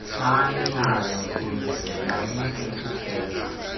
bayakuze bayeke ukugeza